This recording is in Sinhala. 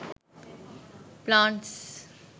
plants